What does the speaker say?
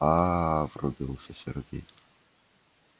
аа врубился сергей